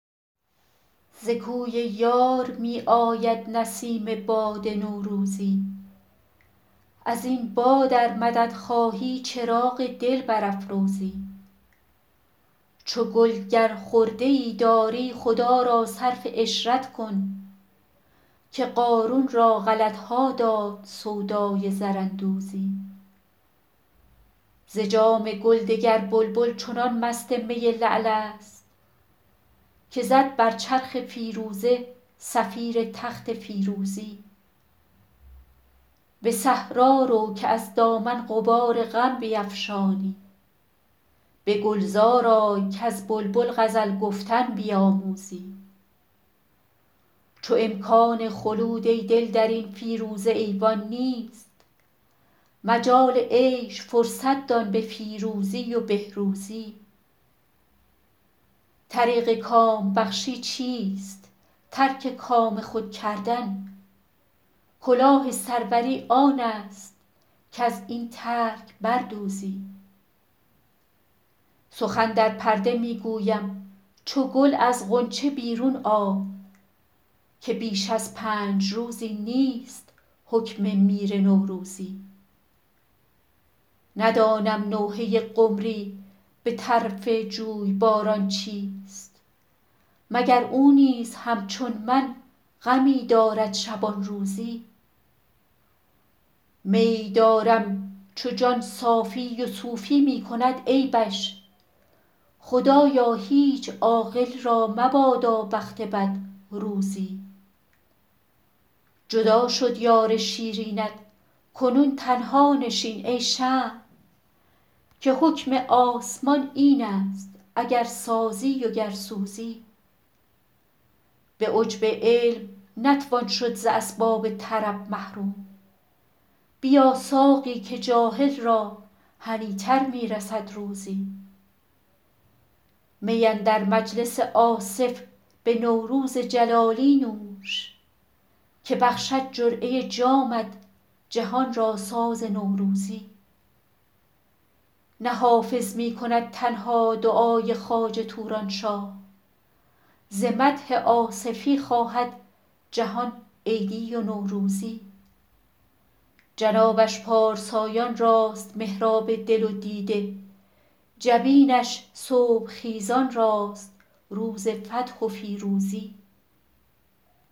ز کوی یار می آید نسیم باد نوروزی از این باد ار مدد خواهی چراغ دل برافروزی چو گل گر خرده ای داری خدا را صرف عشرت کن که قارون را غلط ها داد سودای زراندوزی ز جام گل دگر بلبل چنان مست می لعل است که زد بر چرخ فیروزه صفیر تخت فیروزی به صحرا رو که از دامن غبار غم بیفشانی به گلزار آی کز بلبل غزل گفتن بیاموزی چو امکان خلود ای دل در این فیروزه ایوان نیست مجال عیش فرصت دان به فیروزی و بهروزی طریق کام بخشی چیست ترک کام خود کردن کلاه سروری آن است کز این ترک بر دوزی سخن در پرده می گویم چو گل از غنچه بیرون آی که بیش از پنج روزی نیست حکم میر نوروزی ندانم نوحه قمری به طرف جویباران چیست مگر او نیز همچون من غمی دارد شبان روزی میی دارم چو جان صافی و صوفی می کند عیبش خدایا هیچ عاقل را مبادا بخت بد روزی جدا شد یار شیرینت کنون تنها نشین ای شمع که حکم آسمان این است اگر سازی و گر سوزی به عجب علم نتوان شد ز اسباب طرب محروم بیا ساقی که جاهل را هنی تر می رسد روزی می اندر مجلس آصف به نوروز جلالی نوش که بخشد جرعه جامت جهان را ساز نوروزی نه حافظ می کند تنها دعای خواجه توران شاه ز مدح آصفی خواهد جهان عیدی و نوروزی جنابش پارسایان راست محراب دل و دیده جبینش صبح خیزان راست روز فتح و فیروزی